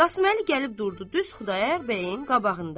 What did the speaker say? Qasım Əli gəlib durdu düz Xudayar bəyin qabağında.